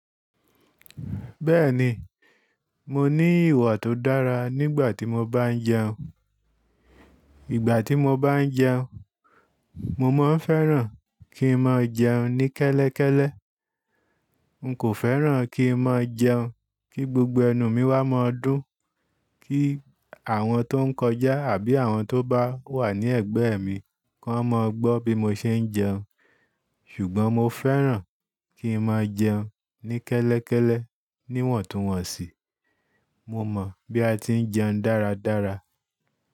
Bẹ́ẹ̀ni, mo ní ìwà tó dára nígbà tí mo bá ń jẹun. Ìgbà tí mo bá ń jẹun, mo máa ń fẹ́ràn kí n máa jẹun ní kẹ́lẹ́kẹ́lẹ́. N kò fẹ́ràn kí n máa jẹun kí gbogbo ẹnu mi wá máa dún, kí àwọn tó ń kọjá àbí àwọn tó bá wà ní ẹ̀gbẹ́ mi kó máa gbọ́ bí mo ṣe ń jẹun. Ṣùgbọ́n mo fẹ́ràn kí n máa jẹun ní kẹ́lẹ́kẹ́lẹ́ níwọ̀ntúnwọ̀nsì. Mo mọ̀ bí a ti ń jẹun dáradára.